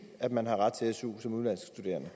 at man har ret til su som udenlandsk studerende